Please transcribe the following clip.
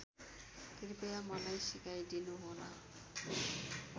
कृपया मलाई सिकाइदिनुहोला